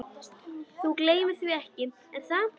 Þú gleymir því ekki, er það?